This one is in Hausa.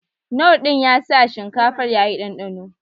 Knorr din ya sa shinkafar ya yi ɗanɗano